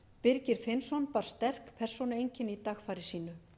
birgir finnsson bar sterk persónueinkenni í dagfari sínu